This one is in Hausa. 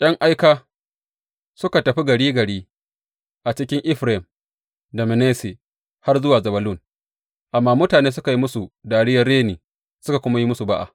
’Yan aika suka tafi gari gari a cikin Efraim da Manasse, har zuwa Zebulun, amma mutane suka yi musu dariyar reni, suka kuma yi musu ba’a.